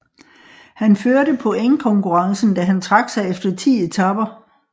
Han førte pointkonkurrencen da han trak sig efter ti etaper